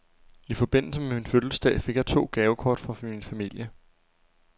I forbindelse med min fødselsdag fik jeg to gavekort fra min familie.